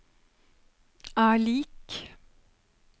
er lik